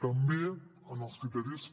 també en els criteris